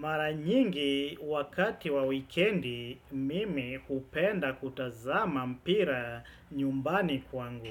Maranyingi wakati wa wikendi, mimi kupenda kutazama mpira nyumbani kwangu.